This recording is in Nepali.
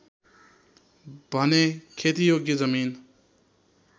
भने खेतीयोग्य जमिन